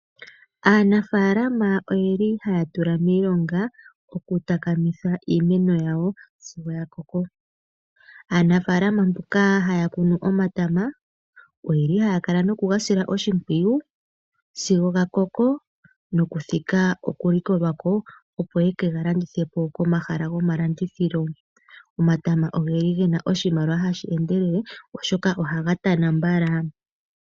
Aanafaalama oye li haya tula miilonga oku takamitha iimeno yawo sigo ya koko. Aanafaalama mboka haya kunu omatama, oye li haya kala noku ga sila oshimpwiyu sigo ga koko nokuthika okulikolwa ko opo yeke ga landithe po komahala gomalandithilo. Omatama oge na oshimaliwa hashi endelele, oshoka ohaga tana mbala.